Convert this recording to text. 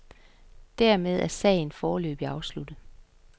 Dermed er sagen foreløbigt afsluttet.